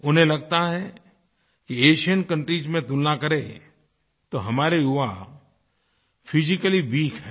उन्हें लगता है कि एशियन कंट्रीज में तुलना करें तो हमारे युवा फिजिकली वीक हैं